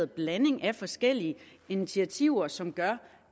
blanding af forskellige initiativer som gør